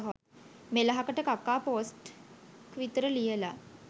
මෙලහකට කකා පෝස්ට් ක් විතර ලියලා.